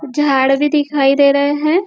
झाड़ भी दिखाई दे रहे है।